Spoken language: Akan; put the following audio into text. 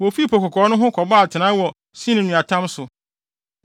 Wofii Po Kɔkɔɔ no ho, kɔbɔɔ atenae wɔ Sin nweatam so.